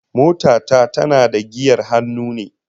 Mota ta tana da giyar hannu ne